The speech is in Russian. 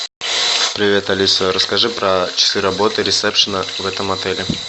привет алиса расскажи про часы работы ресепшена в этом отеле